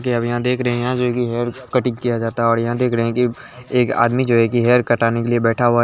अभी यहाँ देख रहै है जो की हैयर कटाई किया जाता है और यहाँ देख रहै एक आदमी जो है हैयर कटा के लिया बैठा हुआ--